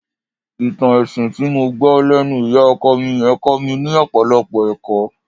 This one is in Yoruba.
Ìtàn ẹṣin tí mo gbọ́ lẹ́nu ìyá ọkọ mi yẹn kọ́ mi ní ọ̀pọ̀lọpọ̀ ẹ̀kọ́